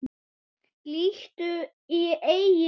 Líttu í eigin barm